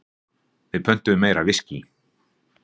Við pöntuðum meira viskí.